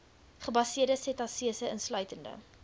gebaseerde setasese insluitende